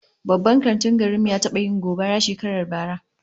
Babban kantin garin mu ya taba yin gobara shekarar bara